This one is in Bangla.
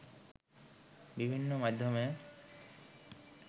বিভিন্ন মাধ্যমে